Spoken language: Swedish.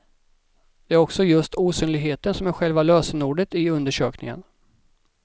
Det är också just osynligheten som är själva lösenordet i undersökningen.